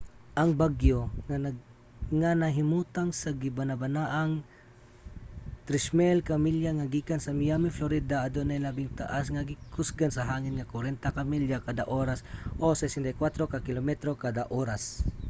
ang bagyo nga nahimutang sa gibanabanang 3,000 ka milya gikan sa miami florida adunay labing taas nga gikusgon sa hangin nga 40 ka milya kada oras 64 ka kilometro kada oras